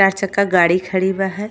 चार चक्का गाड़ी खड़ी बा है।